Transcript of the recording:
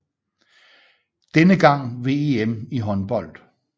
Denne gang ved EM i håndbold